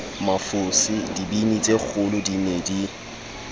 mafose dibini tsekgolodi ne di